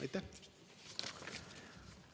Aitäh!